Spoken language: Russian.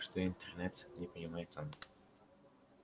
что интернет не понимает он